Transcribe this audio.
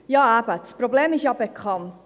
Ja, eben: Das Problem ist ja bekannt.